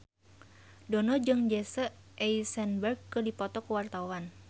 Dono jeung Jesse Eisenberg keur dipoto ku wartawan